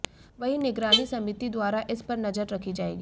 वहीं निगरानी समिति द्वारा इस पर नजर रखी जाएगी